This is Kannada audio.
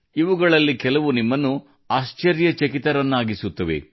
ಇವುಗಳಲ್ಲಿ ಕೆಲವು ನಿಮ್ಮನ್ನು ಆಶ್ಚರ್ಯಚಕಿತರನ್ನಾಗಿಸುತ್ತವೆ